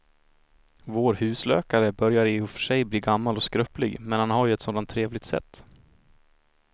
Vår husläkare börjar i och för sig bli gammal och skröplig, men han har ju ett sådant trevligt sätt!